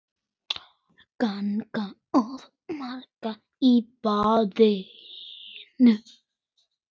Gagn og gaman í bland.